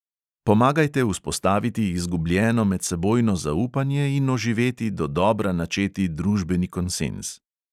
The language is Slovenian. Pomagajte vzpostaviti izgubljeno medsebojno zaupanje in oživeti dodobra načeti družbeni konsenz.